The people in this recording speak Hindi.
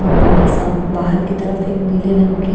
औरबा हसाम बाहर की तरफ एक नीले रंग की--